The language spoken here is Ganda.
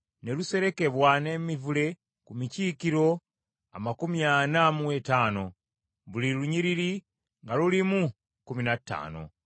Ne luserekebwa n’emivule ku mikiikiro amakumi ana mu etaano, buli lunyiriri nga lulimu kkumi na ttaano.